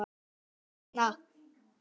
HVERS VEGNA?